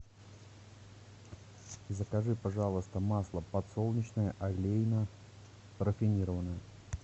закажи пожалуйста масло подсолнечное олейна рафинированное